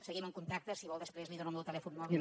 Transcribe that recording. seguim en contacte si vol després li dono el meu telèfon mòbil